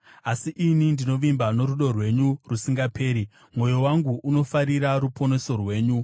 Asi ini ndinovimba norudo rwenyu rusingaperi; mwoyo wangu unofarira ruponeso rwenyu.